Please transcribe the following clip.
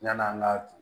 Yan'an ka